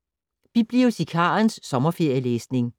Bibliotekarens sommerferielæsning